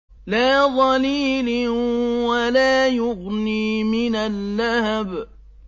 لَّا ظَلِيلٍ وَلَا يُغْنِي مِنَ اللَّهَبِ